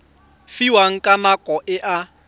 fiwang ka nako e a